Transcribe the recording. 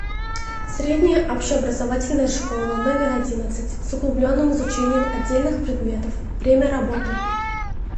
средняя общеобразовательная школа номер одиннадцать с углубленным изучением отдельных предметов время работы